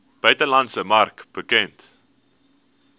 buitelandse mark bekend